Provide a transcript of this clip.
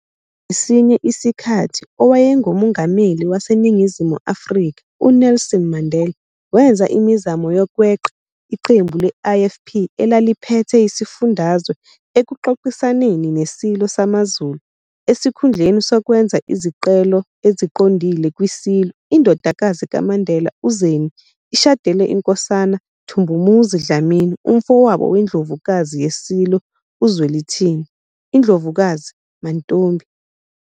Ngesinye isikhathi, owayenguMongameli waseNingizimu Afrika UNelson Mandela wenza imizamo yokweqa iqembu le-IFP elaliphethe isifundazwe ekuxoxisaneni neSilo samaZulu, esikhundleni sokwenza izicelo eziqondile kwiSilo, indodakazi kaMandela, uZeni, ishadele iNkosana Thumbumuzi Dlamini, umfowabo weNdlovukazi yeSilo uZwelithini, INdlovukazi Mantfombi.